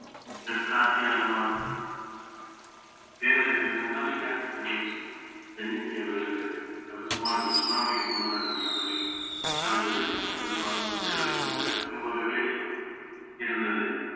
தெற்கு ஆசியாவில நம்ம பேரழிவு என்னன்னா இரண்டாயிரத்தி பதினஞ்சு தென்னிந்திய வெள்ளப்பெருக்கு அது சுமார் இந்த சுனாமிக்கு முன்னதாக அது நடந்தது நடந்தது வந்து அதிகமாகவே இருந்தது